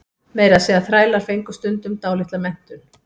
Meira að segja þrælar fengu stundum dálitla menntun.